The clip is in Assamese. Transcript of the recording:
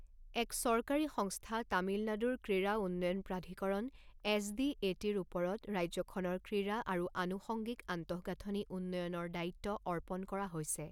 এক চৰকাৰী সংস্থা তামিলনাডুৰ ক্ৰীড়া উন্নয়ন প্ৰাধিকৰণ এছ ডি এ টিৰ ওপৰত ৰাজ্যখনৰ ক্ৰীড়া আৰু আনুষংগিক আন্তঃগাঁথনি উন্নয়নৰ দায়িত্ব অৰ্পণ কৰা হৈছে।